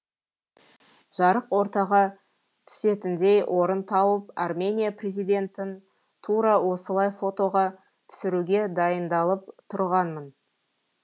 жарық ортаға түсетіндей орын тауып армения президентін тура осылай фотоға түсіруге дайындалып тұрғанмын